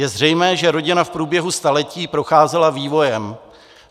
Je zřejmé, že rodina v průběhu staletí procházela vývojem.